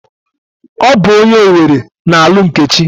Ọ bụ onye Owere na-alụ Nkechi.